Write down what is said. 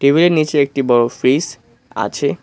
টেবিলের নিচে একটি বড় ফ্রিজ আছে।